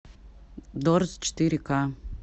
дорз четыре ка